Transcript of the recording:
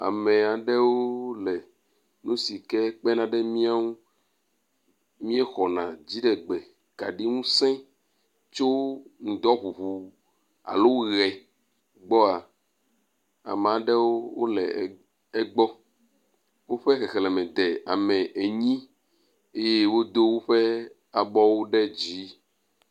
Ame aɖewo le nu si ke kpenaɖe mianu miexɔna dziɖegbe kaɖi ŋusẽ tso ŋdɔ ŋuŋu alo ʋe gbɔa, ame aɖewo le egbɔ, woƒe xexleme de ame enyi, eye wodo woƒe abɔwo ɖe dzi